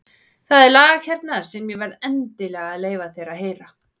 Það er lag hérna sem ég verð endilega að leyfa þér að heyra.